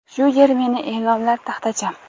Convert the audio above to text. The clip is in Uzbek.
shu yer meni eʼlonlar taxtacham.